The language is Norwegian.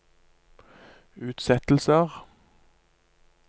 utsettelser